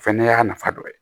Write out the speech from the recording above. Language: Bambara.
Fɛnɛ y'a nafa dɔ ye